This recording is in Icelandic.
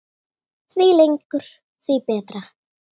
Því lengur því betra.